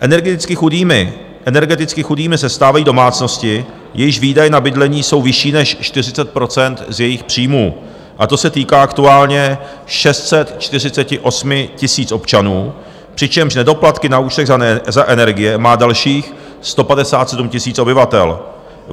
Energeticky chudými se stávají domácnosti, jejichž výdaje na bydlení jsou vyšší než 40 % z jejich příjmů, a to se týká aktuálně 648 000 občanů, přičemž nedoplatky na účtech za energie má dalších 157 000 obyvatel.